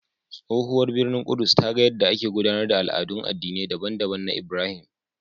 Tsohuwar birnin Ƙudus ta ga yadda ake gudanar da al'adun addinai daban-daban na Ibrahim.